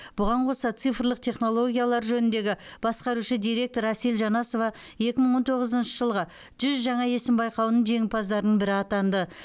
бұған қоса цифрлық технологиялар жөніндегі басқарушы директор әсел жанасова екі мың он тоғызыншы жылғы жүз жаңа есім байқауының жеңімпаздарының бірі атанды